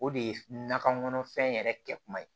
O de ye nakɔ kɔnɔfɛn yɛrɛ kɛ kuma ye